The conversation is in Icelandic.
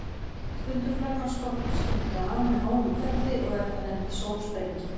Stundum flagnar skorpan skyndilega af með háum hvelli og er það nefnt sólsprenging.